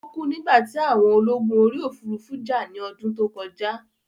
Ó kú nígbà tí àwọn ológun orí òfurufú jà ní ọdún tó kọjá